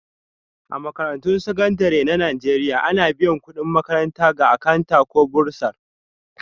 A Makarantun Sakandare na Najeriya, ana biyan kudin makaranta ga Akanta ko Bursar